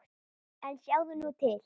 En sjáðu nú til!